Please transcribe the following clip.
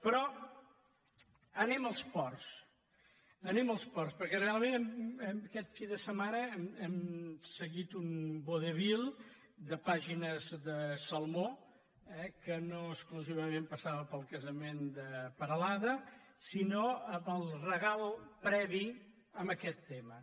però anem als ports anem als ports perquè realment aquest cap de setmana hem seguit un vodevil de pàgines salmó eh que no exclusivament passava pel casament de perelada sinó pel regal previ a aquest tema